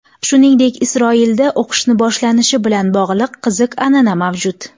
Shuningdek, Isroilda o‘qishni boshlanishi bilan bog‘liq qiziq an’ana mavjud.